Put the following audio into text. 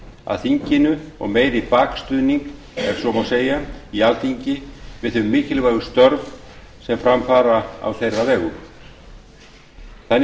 að þinginu og meiri bakstuðning ef svo má segja í alþingi við þau mikilvægu störf sem fara fram á þeirra vegum þannig sé ég